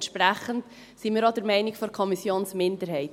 Entsprechend sind wir auch der Meinung der Kommissionsminderheit.